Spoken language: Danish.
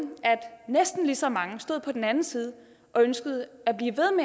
at næsten lige så mange stod på den anden side og ønskede